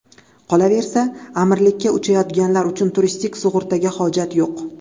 Qolaversa, Amirlikka uchayotganlar uchun turistik sug‘urtaga hojat yo‘q.